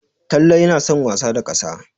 Talle yana son wasa da ƙasa.